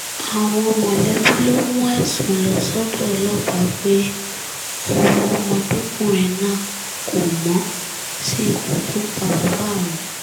àwọn mọ̀lẹ́bí ló mú ẹ̀sùn lọ sọ́dọ̀ ọlọ́pàá pé ọwọ́ ọmọdékùnrin náà kò mọ sí ikú tó pa bàbá àwọn